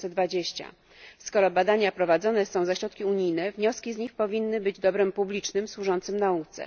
2020. Skoro badania prowadzone są za środki unijne, wnioski z nich powinny być dobrem publicznym, służącym nauce.